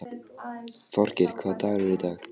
Þorgeir, hvaða dagur er í dag?